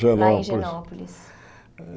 Genópolis Lá em Genópolis.